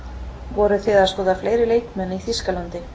Voruð þið að skoða fleiri leikmenn í Þýskalandi?